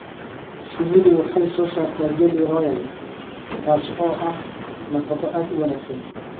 Shinnidu waxay soo saartaa jelly royal taasoo ah nafaqo aad u wanaagsan.